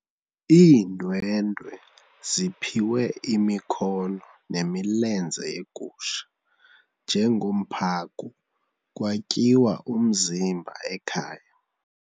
Iindwendwe ziphiwe imikhono nemilenze yegusha njengomphako kwatyiwa umzimba ekhaya.